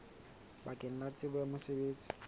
bakeng la tsebo ya mosebetsi